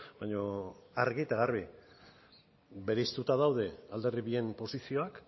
baina argi eta garbi bereiztuta daude alderdi bien posizioak